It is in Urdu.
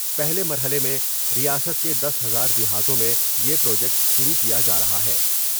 پہلے مرحلے میں ریاست کے دس ہزار دیہاتوں میں یہ پروجیکٹ شروع کیا جارہا ہے ۔